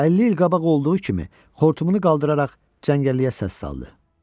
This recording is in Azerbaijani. Və əlli il qabaq olduğu kimi, xortumunu qaldıraraq cəngəlliyə səs saldı.